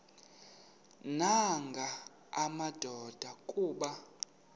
nanga madoda kuba